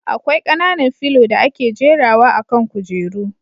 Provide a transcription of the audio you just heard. Akwai kananan filo da ake jera wa akan kujeru